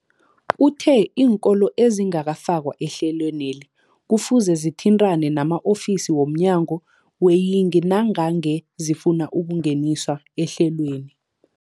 Uthe iinkolo ezingakafakwa ehlelweneli kufuze zithintane nama-ofisi wo mnyango weeyingi nangange zifuna ukungeniswa ehlelweni.